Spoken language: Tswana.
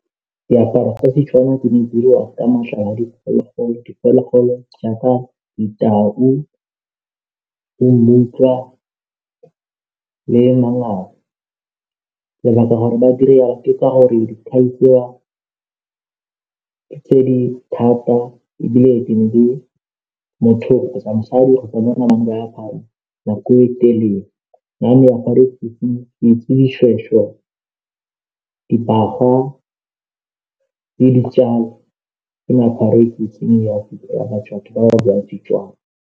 Diaparo tsa Setswana di ne diriwa ka matlalo a diphologolo, diphologolo jaaka ditau, bo mmutlwa le mangau lebaka gore ba dire yalo ke ka gore ditlhagisiwa tse di thata ebile di na le motho kgotsa mosadi nako e telele, ke itse dishweshwe, dibagwa le ditjale ke meaparo e ke itseng ya Setswana.